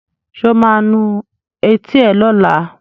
Sọ ma nu etí ẹ lọ́la?